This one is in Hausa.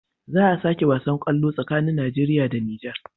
Za a sake wasan kwallo tsakanin nigeria da niger